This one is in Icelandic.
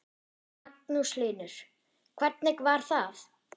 Magnús Hlynur: Hvernig var það?